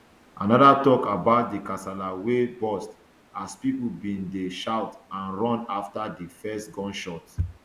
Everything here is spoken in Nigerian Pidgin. anoda tok about di kasala wey burst as pipo bin dey shout and run afta di first gunshot